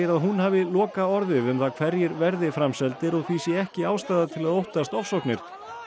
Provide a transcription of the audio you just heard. að hún hafi lokaorðið um það hverjir verði framseldir og því sé ekki ástæða til að óttast ofsóknir